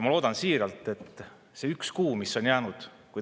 Ma loodan siiralt selle ühe kuu peale, mis on veel jäänud.